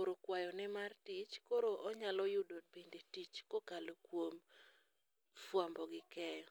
oro kwayone mar tich koro onyalo yudo bende tich kokalo kuom fuambo gi keyo.